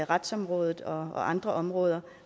retsområdet og andre områder